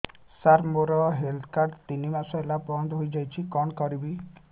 ସାର ମୋର health card ତିନି ମାସ ହେଲା ବନ୍ଦ ହେଇଯାଇଛି କଣ କରିବି